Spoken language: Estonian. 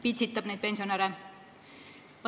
Ta pitsitab neid pensionäre.